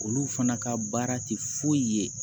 Olu fana ka baara tɛ foyi ye